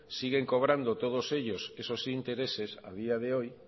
siguen sobrando todos ellos esos intereses a día de hoy